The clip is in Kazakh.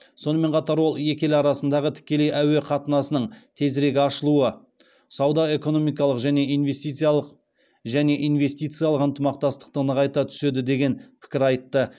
сонымен қатар ол екі ел арасындағы тікелей әуе қатынасының тезірек ашылуы сауда экономикалық және инвестициялық ынтымақтастықты нығайта түседі деген пікір айтты